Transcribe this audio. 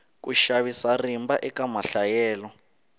ku xavisa rimba eka mahlayelo